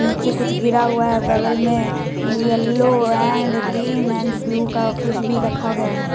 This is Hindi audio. नीचे कुछ गिरा हुआ है औ बगल में yellow and green and blue का कुछ भी रखा गया है।